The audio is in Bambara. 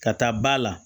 Ka taa ba la